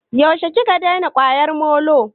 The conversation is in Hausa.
Yaushe ka daina kwaryar molo?